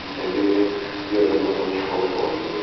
E sempre ia ouvindo um som de fone, corria.